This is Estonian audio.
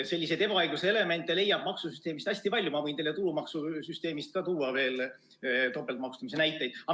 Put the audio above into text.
Selliseid ebaõigluse elemente leiab maksusüsteemist hästi palju, ma võin teile ka tulumaksusüsteemist tuua veel topeltmaksustamise näiteid.